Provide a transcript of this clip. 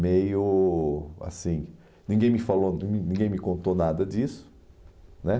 meio assim, ninguém me falou, nin ninguém me contou nada disso, né?